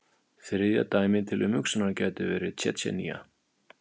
Þriðja dæmið til umhugsunar gæti verið Tsjetsjenía.